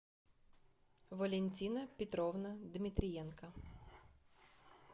валентина петровна дмитриенко